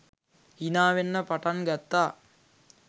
හිනාවෙන්න පටන් ගත්තා